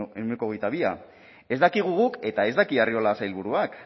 ehuneko hogeita bi ez dakigu guk eta ez daki arriola sailburuak